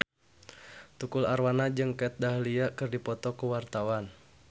Tukul Arwana jeung Kat Dahlia keur dipoto ku wartawan